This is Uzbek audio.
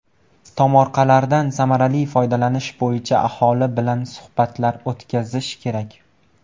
Tomorqalardan samarali foydalanish bo‘yicha aholi bilan suhbatlar o‘tkazish kerak.